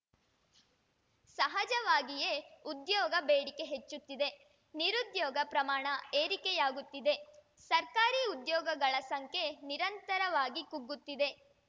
ಸಹಜವಾಗಿಯೇ ಉದ್ಯೋಗ ಬೇಡಿಕೆ ಹೆಚ್ಚುತ್ತಿದೆ ನಿರುದ್ಯೋಗ ಪ್ರಮಾಣ ಏರಿಕೆಯಾಗುತ್ತಿದೆ ಸರ್ಕಾರಿ ಉದ್ಯೋಗಗಳ ಸಂಖ್ಯೆ ನಿರಂತರವಾಗಿ ಕುಗ್ಗುತ್ತಿದೆ